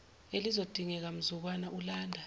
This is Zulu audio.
elizodingeka mzukwana ulanda